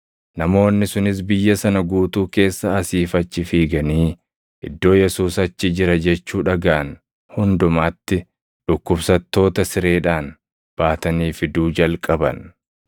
Namoonni sunis biyya sana guutuu keessa asii fi achi fiiganii iddoo Yesuus achi jira jechuu dhagaʼan hundumatti dhukkubsattoota sireedhaan baatanii fiduu jalqaban.